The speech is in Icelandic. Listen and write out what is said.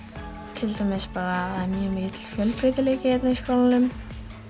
til dæmis að mjög mikill fjölbreytileiki hérna í skólanum